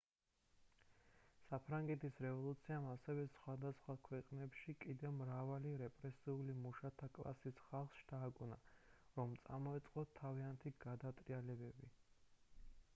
საფრანგეთის რევოლუციამ ასევე სხვადასხვა ქვეყნებში კიდევ მრავალი რეპრესირებული მუშათა კლასის ხალხს შთააგონა რომ წამოეწყოთ თავიანთი გადატრიალებები